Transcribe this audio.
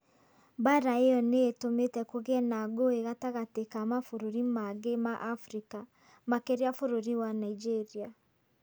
Mbaara ĩyo nĩ ĩtũmĩte kũgĩe na ngũĩ gatagatĩ ka mabũrũri mangĩ ma Afrika. Makĩria bũrũri wa Nigeria.